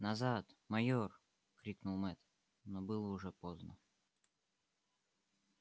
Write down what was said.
назад майор крикнул мэтт но было уже поздно